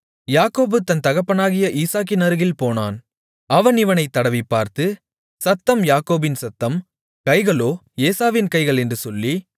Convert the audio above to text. யாக்கோபு தன் தகப்பனாகிய ஈசாக்கினருகில் போனான் அவன் இவனைத் தடவிப்பார்த்து சத்தம் யாக்கோபின் சத்தம் கைகளோ ஏசாவின் கைகள் என்று சொல்லி